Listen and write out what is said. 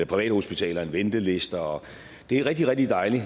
privathospitaler end ventelister det er rigtig rigtig dejligt